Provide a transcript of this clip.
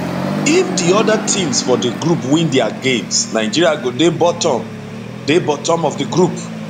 if di oda teams for di group win dia games nigeria go dey bottom dey bottom of di group